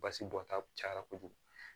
Basi bɔta cayara kojugu